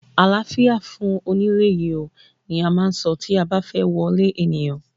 Àláfíà fún onílé yìí oo! ni a máà ń so tí a ba fẹ́ wọlé ènìyàn.